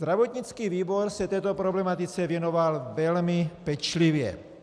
Zdravotnický výbor se této problematice věnoval velmi pečlivě.